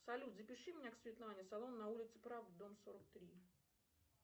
салют запиши меня к светлане салон на улице правды дом сорок три